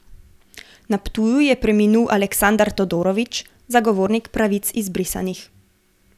Na Ptuju je preminul Aleksandar Todorović, zagovornik pravic izbrisanih.